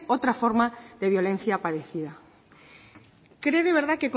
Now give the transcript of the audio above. otra forma de violencia parecida cree de verdad